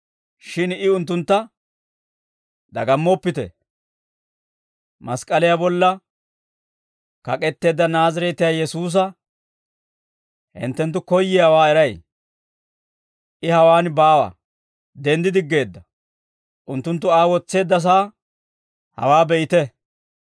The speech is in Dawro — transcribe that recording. Shin I unttuntta, «Dagammoppite. Mask'k'aliyaa bolla kak'etteedda Naazireetiyaa Yesuusa hinttenttu koyyiyaawaa eray. I hawaan baawa; denddi diggeedda. Unttunttu Aa wotseeddasaa hawaa be'ite.